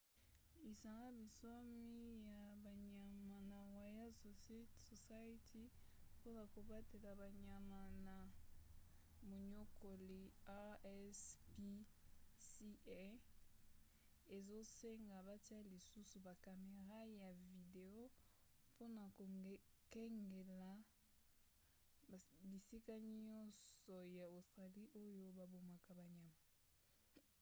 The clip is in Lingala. lisanga bonsomi ya banyama na royal society mpona kobatela banyama na moniokoli rspca ezosenga batia lisusu ba camera ya video mpona kokengela bisika nyonso ya australie oyo babomaka banyama